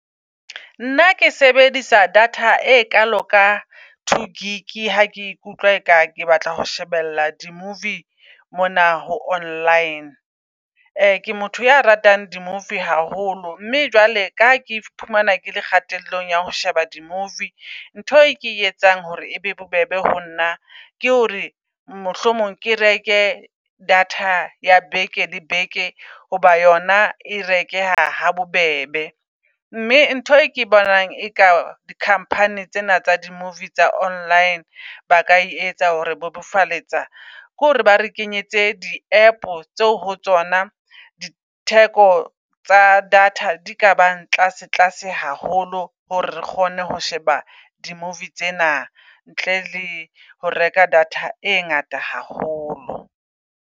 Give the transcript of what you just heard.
Nna ke sebedisa data e kalo ka two gig ha ke ikutlwa e ka ke batla ho shebella di -movie mona ho online. Ke motho a ratang di -movie haholo, mme jwale kaha ke iphumana ke le kgatello ya ho sheba di -movie. Ntho e ke etsang hore e be bobebe ho nna, ke hore mohlomong ke reke data ya beke le beke hoba yona e rekeha ha bobebe. Mme ntho e ke bonang e ka di -company tsena tsa di -movie tsa online ba ka etsa hore bobofaletsa, ke hore ba re kenyetse di app tseo ho tsona di theko tsa data di ka bang tlase tlase haholo. Hore re kgone ho sheba di -movie tsena ntle le ho reka data e ngata haholo.